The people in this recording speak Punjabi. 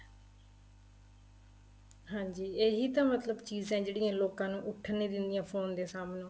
ਹਾਂਜੀ ਇਹੀ ਤਾਂ ਮਤਲਬ ਚੀਜ਼ਾਂ ਏ ਜਿਹੜੀਆਂ ਲੋਕਾਂ ਨੂੰ ਉੱਠਣ ਨਹੀਂ ਦਿੰਦੀਆਂ ਫੋਨ ਦੇ ਸਾਹਮਣੋ